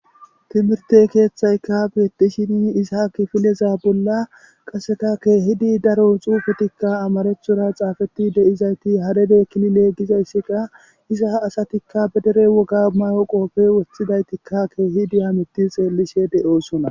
timirte keeththayka betishini izaaki fileza bolla qaseka keehidi daro xuufetikka amarechora xaafeti deizayti haredeekkini leeggizayssika iza asatikka bedere woga may7o qoofe wothidaytikka keehidiha mitti xeellishe de7oosona